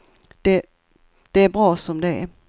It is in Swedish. Det är bra som det är.